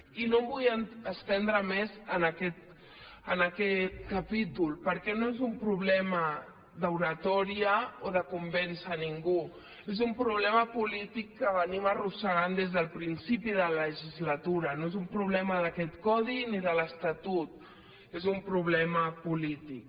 i no em vull estendre més en aquest capítol perquè no és un problema d’oratòria o de convèncer ningú és un problema polític que venim arrossegant des del principi de la legislatura no és un problema d’aquest codi ni de l’estatut és un problema polític